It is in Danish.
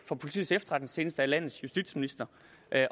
for politiets efterretningstjeneste er landets justitsminister